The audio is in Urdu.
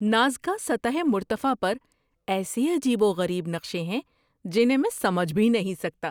نازکا سطح مرتفع پر ایسے عجیب و غریب نقشے ہیں جنہیں میں سمجھ بھی نہیں سکتا!